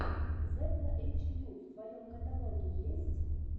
зепла эйчкью в твоем каталоге есть